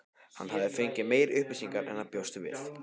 Hann hafði fengið meiri upplýsingar en hann bjóst við.